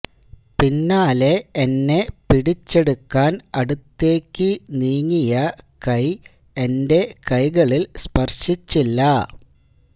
പിന്നാലെ എന്നെ പിടിച്ചെടുക്കാന് അടുത്തേക്ക് നീങ്ങിയ കൈ എന്റെ കൈകളില് സ്പര്ശിച്ചില്ല